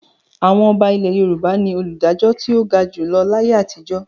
Àwọn ọba ilẹ̀ Yorùbá ni olùdájọ́ tó ga jù lọ láyé àtijọ́.